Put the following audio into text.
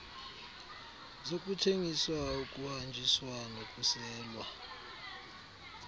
zokuthengiswa ukuhanjiswa nokuselwa